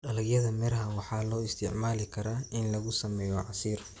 Dalagyada miraha waxaa loo isticmaali karaa in lagu sameeyo casiir.